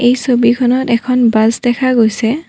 এই ছবিখনত এখন বাছ দেখা গৈছে।